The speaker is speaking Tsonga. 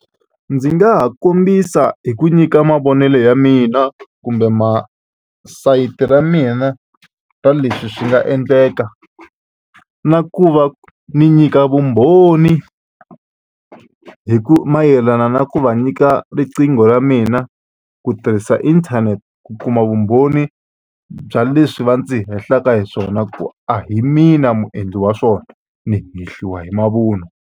Ndzi nga ha kombisa hi ku nyika mavonelo ya mina kumbe ma sayiti ra mina ra leswi swi nga endleka na ku va ni nyika vumbhoni hi ku mayelana na ku va nyika riqingho ra mina ku tirhisa inthanete ku kuma vumbhoni bya leswi va ndzi hehlaka hi swona ku a hi mina muendli wa swona ni hehliwa hi mavunwa.